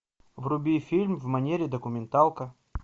вруби фильм в манере документалка